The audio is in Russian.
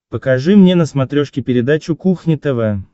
покажи мне на смотрешке передачу кухня тв